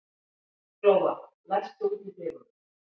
Glóa, læstu útidyrunum.